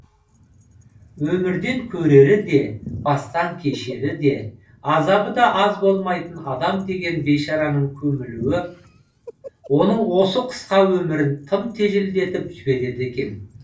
өмірден көрері де бастан кешірері де азабы да аз болмайтын адам деген бейшараның көмілуі оның осы қысқа өмірін тым жеделдетіп жібереді екен